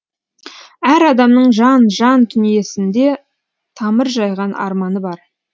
әр адамның жан жан дүниесінде тамыр жайған арманы бар